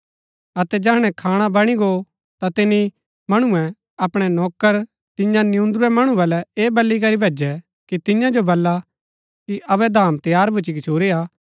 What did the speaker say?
अतै जैहणै खाणा बणी गो ता तिनी मणुऐ अपणै नौकर तियां नियून्दुरूरै मणु बल्लै ऐह बल्ली करी भैजु कि तियां जो बल्ला कि अबै धाम तैयार भुच्‍ची गच्छुरी हा